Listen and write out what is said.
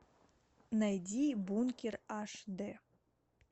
найди бункер аш дэ